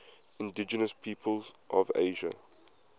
indigenous peoples of asia